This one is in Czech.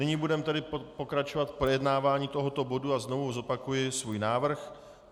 Nyní budeme tedy pokračovat v projednávání tohoto bodu a znovu zopakuji svůj návrh.